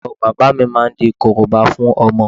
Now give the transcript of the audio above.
Ìyàwó bàbá mi máa di Korobá fún ọmọ